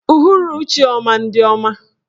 Uhuruchi ọma ndị ọma.